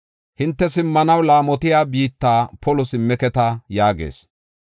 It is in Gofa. Hinte simmanaw laamotiya biitta polo simmeketa” yaagees.